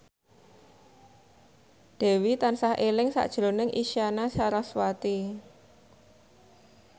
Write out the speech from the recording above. Dewi tansah eling sakjroning Isyana Sarasvati